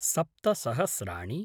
सप्त सहस्राणि